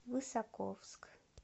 высоковск